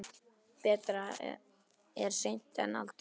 Betra er seint en aldrei!